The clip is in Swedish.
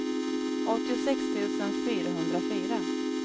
åttiosex tusen fyrahundrafyra